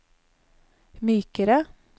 mykere